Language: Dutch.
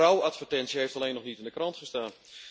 De rouwadvertentie heeft alleen nog niet in de krant gestaan.